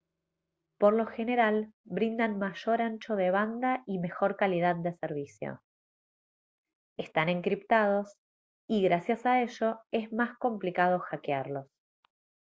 por lo general brindan mayor ancho de banda y mejor calidad de servicio están encriptados y gracias a ello es más complicado hackearlos